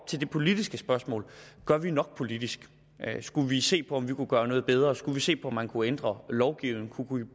til det politiske spørgsmål gør vi nok politisk skulle vi se på om vi kunne gøre noget bedre skulle vi se på om man kunne ændre lovgivningen kunne